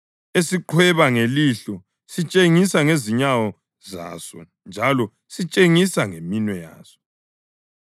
esiqhweba ngelihlo sitshengise ngezinyawo zaso njalo sitshengise ngeminwe yaso,